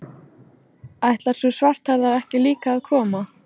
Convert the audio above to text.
Ætlar sú svarthærða ekki líka að koma?